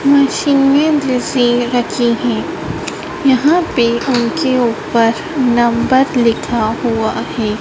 मशीनें जैसी रखी हैं यहां पे उनके ऊपर नंबर लिखा हुआ है।